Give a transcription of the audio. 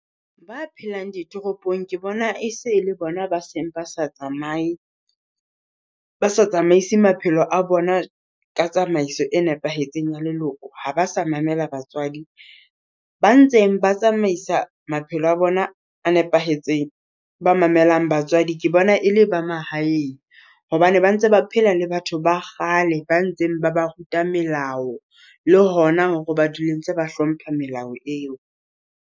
Ba phelang ditoropong ke bona e se le bona ba seng ba sa tsamaye ba sa tsamaisa maphelo a bona ka tsamaiso e nepahetseng ya leloko. Ha ba sa mamela batswadi ba ntseng ba tsamaisa maphelo a bona a nepahetseng. Ba mamelang batswadi ke bona e le ba mahaeng, hobane ba ntse ba phela le batho ba kgale ba ntseng ba ba ruta melao le hona hore ba dule ntse ba hlomphe melao eo.